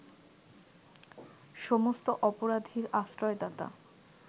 সমস্ত অপরাধীর আশ্রয়দাতা